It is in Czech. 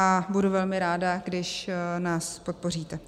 A budu velmi ráda, když nás podpoříte.